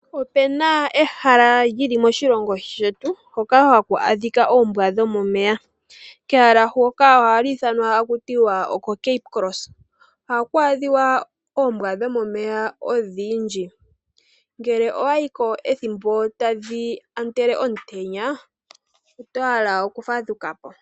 Opu na ehala lyoka hali adhika moshilongo shetu hoka haku adhika oombwa dhomomeya kehala huka oha ku ithanwa taku tiwa koCape Cross oha ku adhiwa oombwa dhomomeya odhindji ngele owa yiko ethimbo tadhi otele omutenya oto hala okufadhukapo.